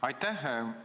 Aitäh!